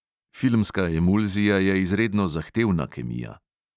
Filmska emulzija je izredno zahtevna kemija.